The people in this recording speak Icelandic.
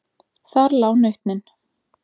Þar lá nautnin.